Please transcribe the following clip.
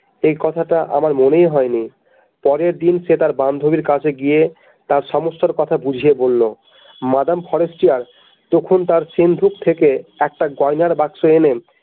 এই কথাটা আমার মনেই হয়নি পরের দিন সে তার বান্ধবীর কাছে গিয়ে তার সমস্যার কথা বুঝিয়ে বলল মাদাম ফরেস্টিয়ার তখন তার সিন্ধুক থেকে একটা গয়নার বাক্স এনে।